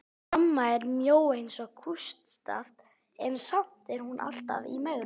Amma er mjó eins og kústskaft en samt er hún alltaf í megrun.